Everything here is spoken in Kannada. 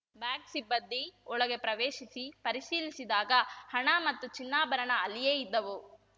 ಬ್ಯಾಂಕ್‌ ಸಿಬ್ಬಂದಿ ಒಳಗೆ ಪ್ರವೇಶಿಸಿ ಪರಿಶೀಲಿಸಿದಾಗ ಹಣ ಮತ್ತು ಚಿನ್ನಾಭರಣ ಅಲ್ಲಿಯೇ ಇದ್ದವು